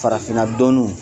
Farafinna dɔɔnuw